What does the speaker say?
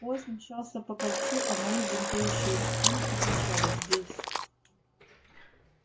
поезд мчался по кольцу а мои бунтующие инстинкты кричали здесь